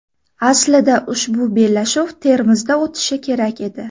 Aslida ushbu bellashuv Termizda o‘tishi kerak edi.